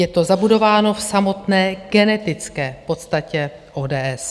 Je to zabudováno v samotné genetické podstatě ODS.